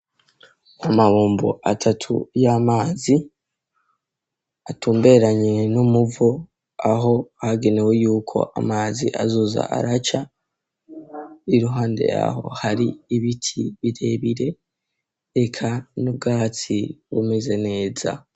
Amabombo atatu y'amazi, atumberanye n'umuvo aho hagenewe yuko amazi azoza araca. Iruhande ya ho hari ibiti birebire eka, n'ubwatsi bumeze neza.